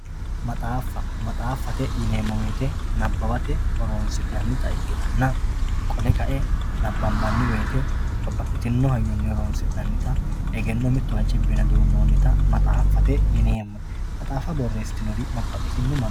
maxaaffa maxaaffate yineemmo woyiite nabbawate horoonsi'neemmota ikkitanna qole kae nabbanbanni woyiite wole babbaxxitino hayyonni horoonsi'nannita egenno mittowa cibbine duunnoonnita maxaaffate yineemmo maxaaffa borreessitinori babbaxxitino manna.